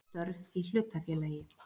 Störf í hlutafélagi.